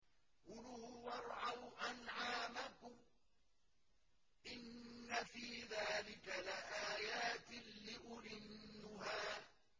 كُلُوا وَارْعَوْا أَنْعَامَكُمْ ۗ إِنَّ فِي ذَٰلِكَ لَآيَاتٍ لِّأُولِي النُّهَىٰ